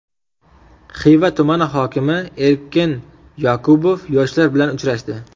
Xiva tumani hokimi Erkin Yoqubov yoshlar bilan uchrashdi.